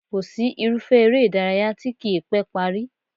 Kò sí irúfẹ́ eré ìdárayá tí kì í pẹ́ parí